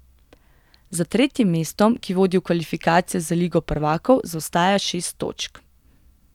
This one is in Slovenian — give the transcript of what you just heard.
Za tretjim mestom, ki vodi v kvalifikacije za Ligo prvakov zaostaja šest točk.